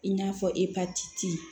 I n'a fɔ epatiti